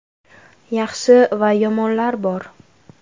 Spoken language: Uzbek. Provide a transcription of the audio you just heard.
Yaxshi va yomonlar bor.